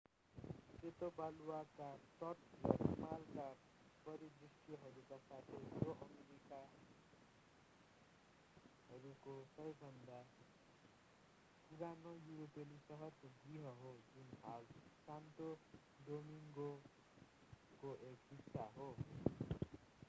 सेतो बालुवाका तट र हिमालका परिदृष्यहरूका साथै यो अमेरिकाहरूको सबैभन्दा पुरानो युरोपेली सहरको गृह हो जुन हाल सान्टो डोमिङ्गोको एक हिस्सा हो